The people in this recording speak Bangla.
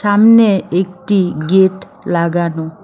সামনে একটি গেট লাগানো।